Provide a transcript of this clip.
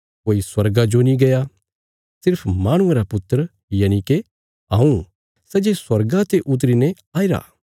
कोई स्वर्गा जो नीं गया पर सिर्फ माहणुये रा पुत्र यनिके हऊँ सै जे स्वार्गा ते उतरी ने आईरा